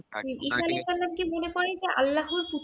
ঈসা আলাহিসাল্লামকে মনে করেন যে আল্লাহর পুত্র